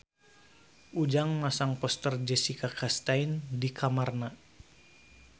Ujang masang poster Jessica Chastain di kamarna